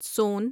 سون